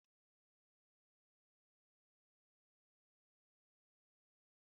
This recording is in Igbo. Akụkọ ifo bụ akụkọ mgbe ochie gbasara chi na ndị dike